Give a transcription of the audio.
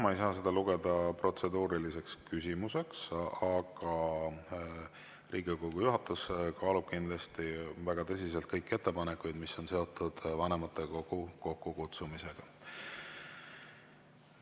Ma ei saa seda lugeda protseduuriliseks küsimuseks, aga Riigikogu juhatus kaalub kindlasti väga tõsiselt kõiki ettepanekuid, mis on seotud vanematekogu kokkukutsumisega.